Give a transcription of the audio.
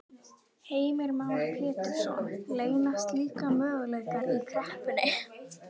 Heimir Már Pétursson: Leynast líka möguleikar í kreppunni?